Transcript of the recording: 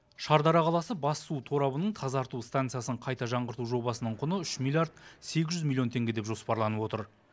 шардара қаласы бас су торабының тазарту станциясын қайта жаңғырту жобасының құны үш миллиард сегіз жүз миллион теңге деп жоспарланып отыр